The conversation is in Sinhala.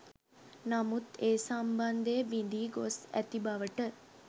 නමුත් ඒ සම්බන්ධය බිඳී ගොස් ඇති බවට